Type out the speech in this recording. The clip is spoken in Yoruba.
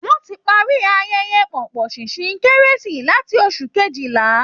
Wọ́n ti parí ayẹyẹ pọ̀pọ̀ṣìnṣìn kérésì láti oṣù kejìlá